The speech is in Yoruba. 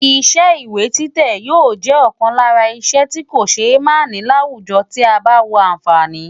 Iṣẹ́ ìwé títẹ̀ yóò jẹ́ ọ̀kan lára iṣẹ́ tí kò ṣe é máà ní láwùjọ bí a bá wo àǹfààní rẹ̀.